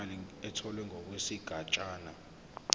imali etholwe ngokwesigatshana